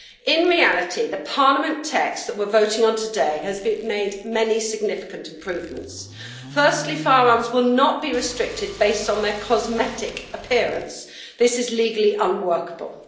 In reality, the Parliament text that we are voting on today contains many significant improvements. Firstly, firearms will not be restricted on the basis of their cosmetic appearance this is legally unworkable.